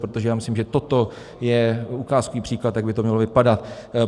Protože já myslím, že toto je ukázkový příklad, jak by to mělo vypadat.